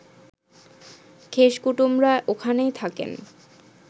খেশ কুটুমরা ওখানেই থাকেন